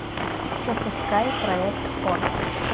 запускай проект хор